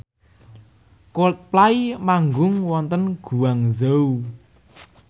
Coldplay manggung wonten Guangzhou